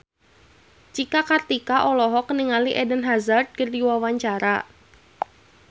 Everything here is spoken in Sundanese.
Cika Kartika olohok ningali Eden Hazard keur diwawancara